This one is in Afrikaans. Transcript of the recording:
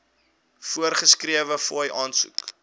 voorgeskrewe fooie aansoek